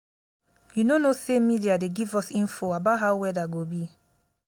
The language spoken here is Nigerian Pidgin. you no know sey media dey give us info about how weather go be.